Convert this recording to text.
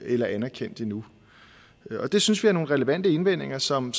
eller anerkendt endnu det synes vi er nogle relevante indvendinger som